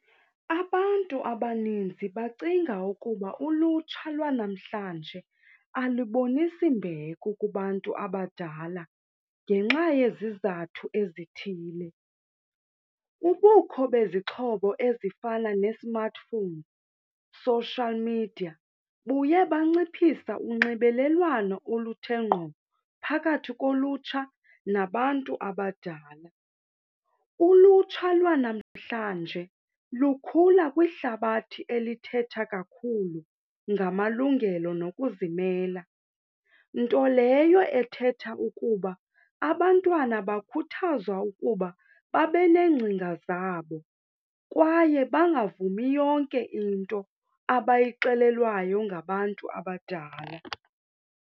Abantu abaninzi bacinga ukuba ulutsha lwanamhlanje alibonis mbeko kubantu abadala ngenxa yezizathu ezithile. Ubukho bezixhobo ezifana ne-smartphone, social media buye banciphisa unxibelelwano oluthe ngqo phakathi kolutsha nabantu abadala. Ulutsha lwanamhlanje lukhula kwihlabathi elithetha kakhulu ngamalungelo nokuzimela, nto leyo ethetha ukuba abantwana bakhuthazwa ukuba babe neengcinga zabo kwaye bangavumi yonke into abayixelelwayo ngabantu abadala.